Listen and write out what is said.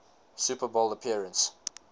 super bowl appearance